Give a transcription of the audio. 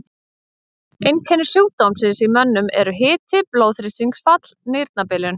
Einkenni sjúkdómsins í mönnum eru hiti, blóðþrýstingsfall, nýrnabilun.